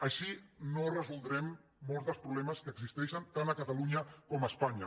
així no resoldrem molts dels problemes que existeixen tant a catalunya com a espanya